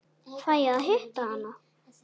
Fæ ég að hitta hana?